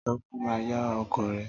Tọ́pẹ́ máa yá ọkọ̀ rẹ